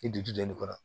I dusu dɔɔnin kɔnɔ